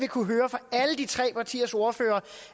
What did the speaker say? kunne høre fra alle de tre partiers ordførere